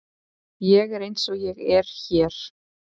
Ég er eins og ég er hér.